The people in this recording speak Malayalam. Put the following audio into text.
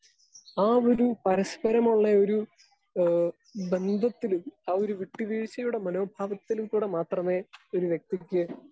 സ്പീക്കർ 2 ആ ഒരു പരസ്പരമൊള്ളയൊരു ഏഹ് ബന്ധത്തിലും ആ ഒരു വിട്ടുവീഴ്ചയുടെ മനോഭാവത്തിൽക്കൂടെ മാത്രമേ ഒരു വ്യക്തിക്ക്